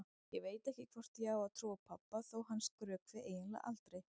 Ég veit ekki hvort ég á að trúa pabba þó að hann skrökvi eiginlega aldrei.